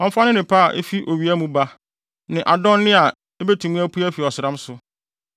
Ɔmfa ne nnepa efi owia mu ba ne adonne a ebetumi apue afi ɔsram so;